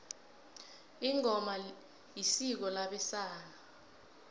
ingoma isiko labesana